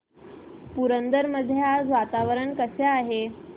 पुरंदर मध्ये आज वातावरण कसे आहे